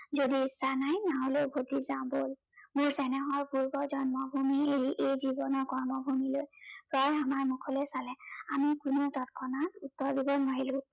যদি ইচ্ছা নাই, নহলে উভটি যাওঁ বল। মোৰ চেনেহৰ পূৰ্ব জন্মভূমি এৰি এই জীৱনৰ কৰ্মভূমিলৈ। জয়ে আমাৰ মুখলৈ চালে। আমি কোনো তৎক্ষণাত উত্তৰ দিব নোৱাৰিলো।